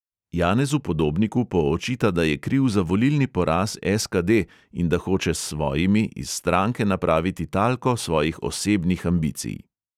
Janezu podobniku poočita, da je kriv za volilni poraz SKD in da hoče s svojimi iz stranke napraviti talko svojih osebnih ambicij.